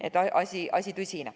Nii et asi oli tõsine.